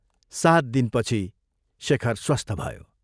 सात दिनपछि शेखर स्वस्थ भयो।